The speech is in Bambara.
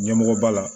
Ɲɛmɔgɔ ba la